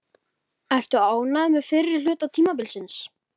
Ertu ánægður með fyrri hluta tímabilsins?